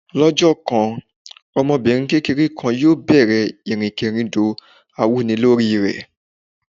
Lọ́jọ́ kan, ọmọbìnrin kékeré kan yóò bẹ̀rẹ̀ ìrìnkèrindò awúnilórí rẹ̀.